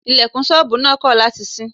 Ilẹ̀kùn ṣọ́bùù náà kọ̀ láti ṣí.